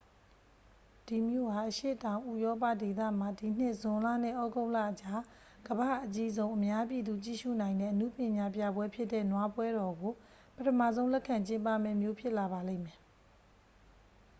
ဒီမြို့ဟာ အရှေ့တောင် ဥရောပဒေသမှာ ဒီနှစ် ဇွန်လနဲ့ ဩဂုတ်လအကြား ကမ္ဘာ့အကြီးဆုံး အများပြည်သူ ကြည့်ရှုနိုင်တဲ့ အနုပညာပြပွဲဖြစ်တဲ့ နွားပွဲတော်ကို ပထမဆုံး လက်ခံကျင်းပမယ့် မြို့ဖြစ်လာပါလိမ့်မယ်